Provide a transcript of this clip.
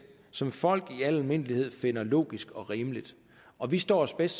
som folk i al almindelighed finder logisk og rimeligt og vi står os bedst